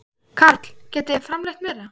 Karl: Getið þið framleitt meira?